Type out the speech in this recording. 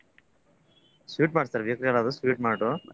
Bakery ಏನ್ರಿ sweet mart sweet mart .